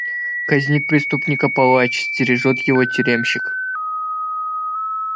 казнит преступника палач стережёт его тюремщик